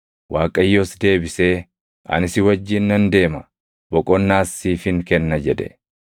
Waaqayyos deebisee, “Ani si wajjin nan deema; boqonnaas siifin kenna” jedhe.